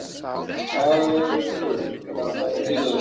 Hafsteinn: Hvernig týpa er hún?